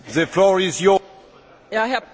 Herr Präsident, meine Damen und Herren!